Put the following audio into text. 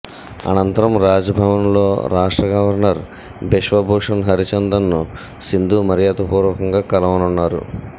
అంనతరం రాజ్భవన్లో రాష్ట్ర గవర్నర్ బిశ్వభూషణ్ హరిచందన్ను సింధు మర్యాదపూర్వకంగా కలవనున్నారు